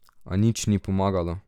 A nič ni pomagalo.